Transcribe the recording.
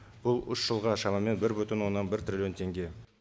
бұл үш жылға шамамен бір бүтін оннан бір триллион теңге